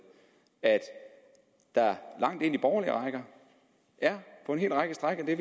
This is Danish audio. at der langt ind i borgerlige rækker på en hel række stræk med